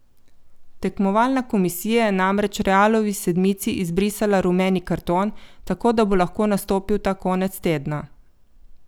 Tekmovalna komisija je namreč Realovi sedmici izbrisala rumeni karton, tako da bo lahko nastopil ta konec tedna.